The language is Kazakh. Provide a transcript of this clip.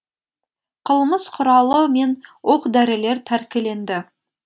қылмыс құралы мен оқ дәрілер тәркіленді